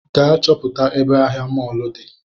Gaa chọpụta ebe ahịa mọlụ di